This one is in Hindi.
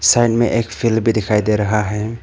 साइड में एक फील्ड भी दिखाई दे रहा है।